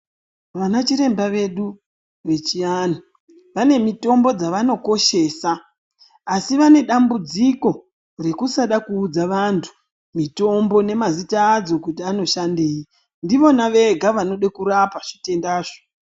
Vana chiremba vedu vechianhu, vane mitombo dzevanokoshesa, asi vane dambudziko rekusada kuudza vantu mitombo nemazita adzo kuti anoshandei. Ndivona vega vanode kurapa zvitendazvo.